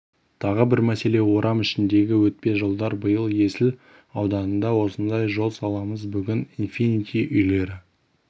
тағы бір мәселе орам ішіндегі өтпе жолдар биыл есіл ауданында осындай жол саламыз бүгін инфинити үйлері